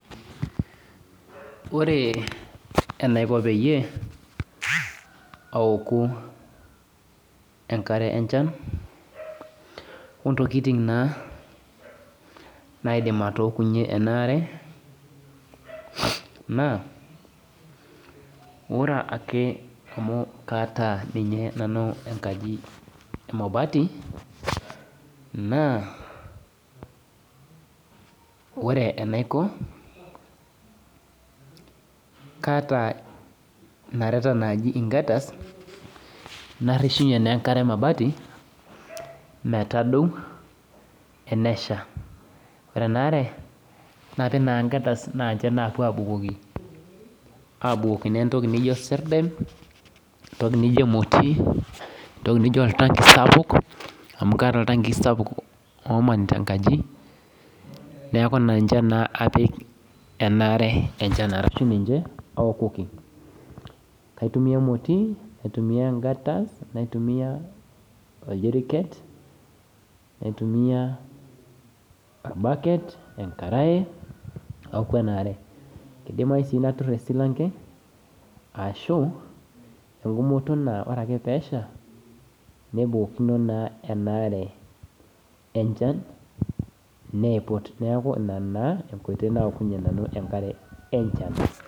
Ore enaiko peyie aouku enkare enchan ontokitin na naidimbatookunyenenaare na ore ake mau kaata nanu enkaji emabati na ore enaiko kaata nareta naji gutters nateshie enkare emabati metadoi enesha ore enaare na ninche napuo abukoki entoki naijo emoti entoki nijooltanki sapuk amu kaata oltanki sapuk neaku ninche na apik enaare enchanarashu ninche aokoki aitumia emoti aitumia engata naitumia oljiriket naitumia orbaket enkarae idimayu si natur esilanke ashuore ake peesha nebukokino na enaare enchan neipit neaku ina aokunye nanu enkare enchan.